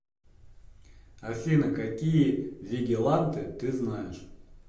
афина какие вигиланты ты знаешь